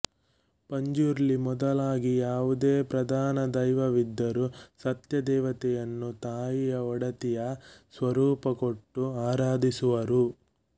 ಪಂಜುರ್ಲಿ ಮೊದಲಾಗಿ ಯಾವುದೇ ಪ್ರಧಾನ ದೈವವಿದ್ದರೂ ಸತ್ಯ ದೇವತೆಯನ್ನು ತಾಯಿಯ ಒಡತಿಯ ಸ್ವರೂಪ ಕೊಟ್ಟು ಆರಾಧಿಸುವರು